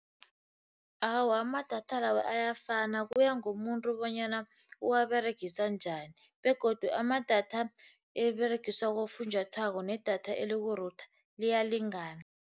Awa, amadatha lawo ayafana kuya ngomuntu bonyana uwaberegisa njani begodu amadatha eberegiswa bofunjathwako nedatha eliku-router liyalingana.